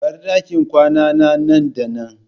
Bar dakin kwanana nan da nan!